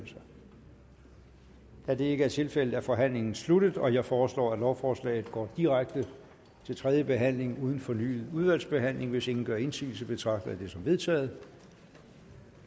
da det ikke er tilfældet er forhandlingen sluttet jeg foreslår at lovforslaget går direkte til tredje behandling uden fornyet udvalgsbehandling hvis ingen gør indsigelse betragter jeg det som vedtaget